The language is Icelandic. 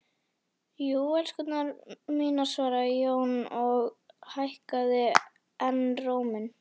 Jú, elskurnar mínar, svaraði Jón og hækkaði enn róminn.